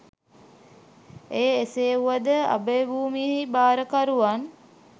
එය එසේ වුවද අභයභූමියෙහි භාරකරුවන්